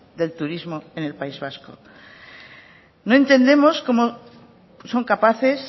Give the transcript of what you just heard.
del turismo en el país vasco no entendemos cómo son capaces